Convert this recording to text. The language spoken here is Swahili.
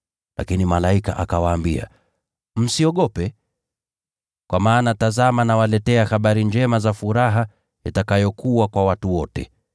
Lakini malaika akawaambia: “Msiogope. Kwa maana tazama nawaletea habari njema za furaha itakayokuwa kwa watu wote.